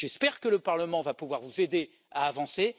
J'espère que le Parlement pourra vous aider à avancer.